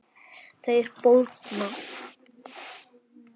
Þeir bólgna.